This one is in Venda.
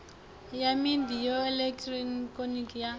ya midia ya elekihironiki ya